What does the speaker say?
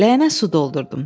Ləyənə su doldurdum.